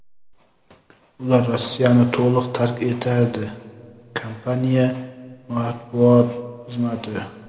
ular Rossiyani to‘liq tark etadi – kompaniya matbuot xizmati.